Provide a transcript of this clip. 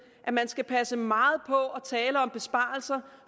at man skal passe meget på med at tale om besparelser